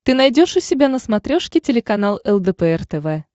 ты найдешь у себя на смотрешке телеканал лдпр тв